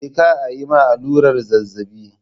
Je ka ayi ma allurar zazzabi